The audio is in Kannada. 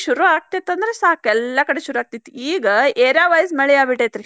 ಶುರು ಆಗ್ತೇತಂದ್ರ ಸಾಕ್ ಎಲ್ಲಾ ಕಡೆ ಶುರು ಆಗಿತ್ತ್. ಈಗ area wise ಮಳಿ ಆಗಿಬಿಟ್ಟೆತ್ರಿ.